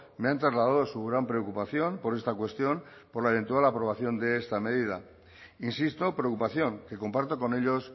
me han trasladado su gran preocupación por esta cuestión por la eventual aprobación de esta medida insisto preocupación que comparto con ellos